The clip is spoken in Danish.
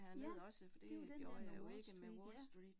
Ja, det jo den der med Wall Street ja